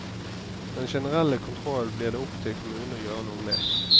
Den generelle kontrollen blir det opp til kommunen å gjøre noe med.